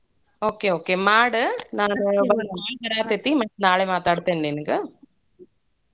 Okay okay ಮಾಡ್ ನಂಗ್ ಒಂದ್ call ಬರಾತೇತಿ ಮತ್ ನಾಳೆ ಮಾತಾಡ್ತೇನಿ ನಿಂಗ.